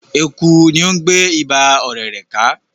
Eku ni o ń gbe Iba ọ̀rẹ̀rẹ̀ ka